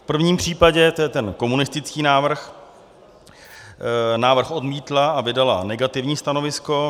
V prvním případě, to je ten komunistický návrh, návrh odmítla a vydala negativní stanovisko.